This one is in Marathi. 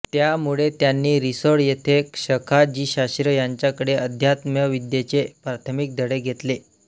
त्यामुळे त्यांनी रिसोड येथे सखाजीशास्त्री यांच्याकडे अध्यात्मविद्येचे प्राथमिक धडे घेतले